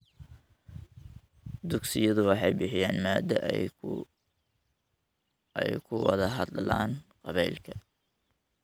Dugsiyadu waxay bixiyaan madal ay ku wada hadlaan qabaa'ilka .